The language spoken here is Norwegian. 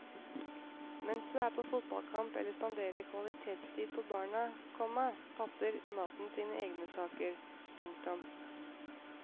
Mens du er på fotballkamp eller spanderer kvalitetstid på barna, komma passer maten sine egne saker. punktum